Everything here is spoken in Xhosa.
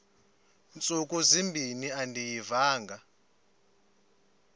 ntsuku zimbin andiyivanga